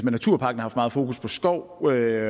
naturparken har for meget fokus på skov og